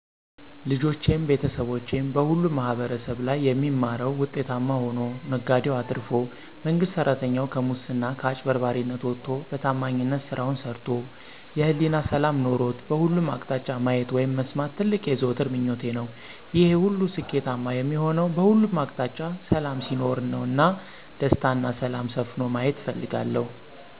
ልጆቼም፣ ቤተሰቦቼም በሁሉም ማህበረሰብ ላይ የሚማረዉ ዉጤታማ ሆኖ፣ ነጋዴዉ አትርፎ፣ መንግስት ሰራተኛዉ <ከሙስና ከአጭበርባሪነት>ወጥቶ በታማኝነት ስራዉን ሰርቶ የህሊና ሰላም ኖሮት በሁሉም አቅጣጫ ማየት (መስማት) ትልቅ የዘወትር ምኞቴ ነዉ። ይሄ ሁሉ ስኬታማ የሚሆነዉ በሁሉም አቅጣጫ ሰላም ሲኖር ነዉ እና "ደስታ እና ሰላም" ሰፍኖ መየት እፈልጋለሁ።